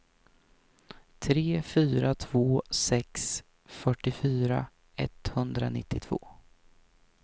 tre fyra två sex fyrtiofyra etthundranittiotvå